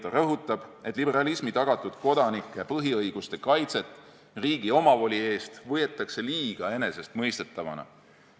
Ta rõhutab, et liberalismi tagatud kodanike põhiõiguste kaitset riigi omavoli eest võetakse liiga enesestmõistetavana.